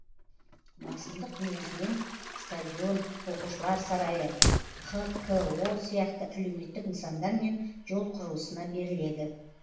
басымдық негізінен стадион оқушылар сарайы хқко сияқты әлеуметтік нысандар мен жол құрылысына беріледі